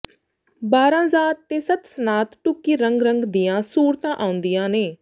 ਬਾਰਾਂ ਜ਼ਾਤ ਤੇ ਸੱਤ ਸਨਾਤ ਢੁੱਕੀ ਰੰਗ ਰੰਗ ਦੀਆਂ ਸੂਰਤਾਂ ਆਉਂਦੀਆਂ ਨੇ